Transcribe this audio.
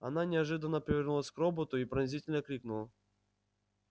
она неожиданно повернулась к роботу и пронзительно крикнула